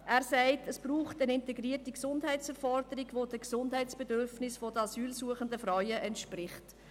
Er sagt, es brauche eine integrierte Gesundheitsversorgung, die den Gesundheitsbedürfnissen der asylsuchenden Frauen entspricht.